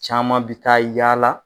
Caman bi taa yaala.